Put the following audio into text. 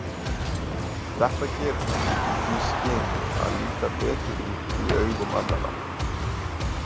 Þetta gerir hann í því skyni að líta betur út í augum annarra.